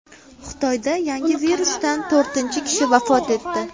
Xitoyda yangi virusdan to‘rtinchi kishi vafot etdi.